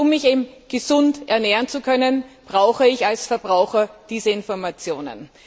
Um mich gesund ernähren zu können, brauche ich als Verbraucher diese Informationen.